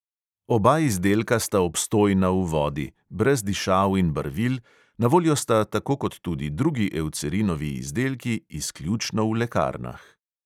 Oba izdelka sta obstojna v vodi, brez dišav in barvil, na voljo sta tako kot tudi drugi eucerinovi izdelki izključno v lekarnah.